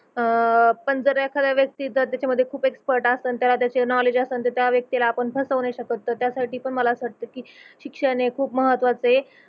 अह पण जर एखादा व्यक्ती जर त्याच्यामध्ये खूप एक्स्पर्ट असन त्याला त्याच नोवलेड्ज असन तर त्या व्यक्तीला आपण फसवू नाही शकत तर त्यासाठी पण मला असं वाटत की शिक्षण हे खूप महत्वाच आहे